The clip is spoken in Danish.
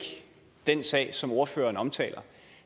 den sag som ordføreren omtaler